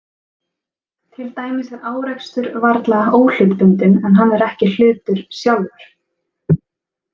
Til dæmis er árekstur varla óhlutbundinn, en hann er ekki hlutur sjálfur.